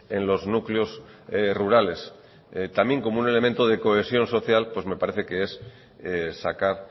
en los núcleos rurales también como un elemento de cohesión social pues me parece que es sacar